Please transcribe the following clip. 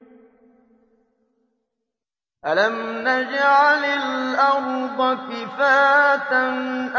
أَلَمْ نَجْعَلِ الْأَرْضَ كِفَاتًا